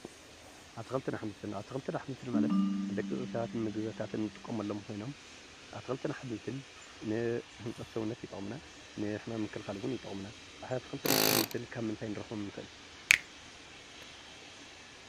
ኣትክልትን ኣሕምልትን ኣትክልትን ኣሕምልትን ማለት ንደቂ ሰባት ንምግብታት እንጥቀመሎም ኮይኖም ኣትክልትን ኣሕምልትን ንህንፀት ሰውነት ይጠቅሙ፡፡ ንሕማም ምክልካል እውን ይጠቅሙና፡፡ ኣትክልትን ኣሕምልትን ካብ ምንታይ ክንረክቦም ንክእል?